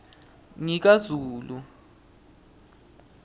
ngikazulu